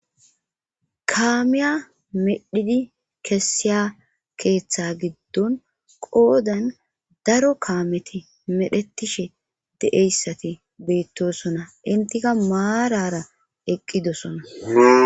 Kaamiya medhidi kessiya keeththa giddon qoodan daro kaameti medhetishe de7eyssati beyttosona intika maarara eqqidosona.